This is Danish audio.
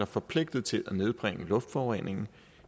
forpligtet til at nedbringe luftforureningen